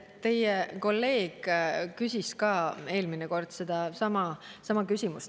Teie kolleeg küsis eelmine kord sellesama küsimuse.